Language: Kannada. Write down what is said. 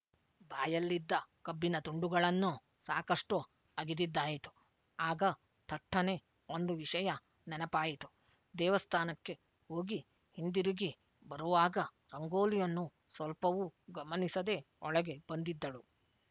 ಬಾಯಲ್ಲಿದ್ದ ಕಬ್ಬಿನ ತುಂಡುಗಳನ್ನು ಸಾಕಷ್ಟು ಅಗಿದಿದ್ದಾಯಿತು ಆಗ ಥಟ್ಟನೆ ಒಂದು ವಿಷಯ ನೆನಪಾಯಿತು ದೇವಸ್ಥಾನಕ್ಕೆ ಹೋಗಿ ಹಿಂದಿರುಗಿ ಬರುವಾಗ ರಂಗೋಲಿಯನ್ನು ಸ್ವಲ್ಪವೂ ಗಮನಿಸದೆ ಒಳಗೆ ಬಂದಿದ್ದಳು